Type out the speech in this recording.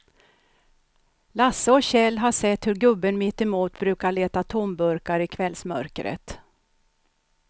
Lasse och Kjell har sett hur gubben mittemot brukar leta tomburkar i kvällsmörkret.